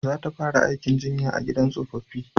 Za ta fara aikin jinya a gidan tsofaffi